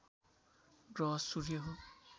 ग्रह सूर्य हो